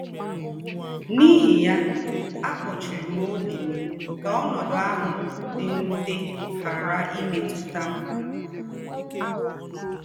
N’íhí ya, àkpòchìrì m ọ́bì m kà ọ́nọ́dù àhụ̀ dì m̀wùtè ghàrà ìmètùtà m.